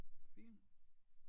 Film